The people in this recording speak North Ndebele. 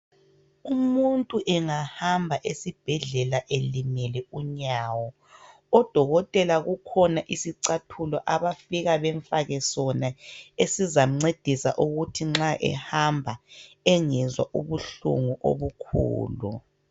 Umuntu engahamba esibhedlela elimele unyawo odokotela kukhona isicathulo abafika bemfake sona esizamncedisa ukuthi nxa ehamba engezwa ubuhlungu obukhulu.